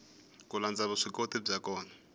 ku landza vuswikoti bya vona